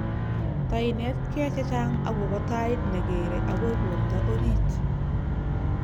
Tainetkei chechang akobo tait negeere agoi boroto orit